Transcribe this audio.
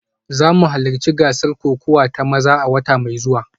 Za mu halarci gasar kokawa ta maza a wata mai zuwa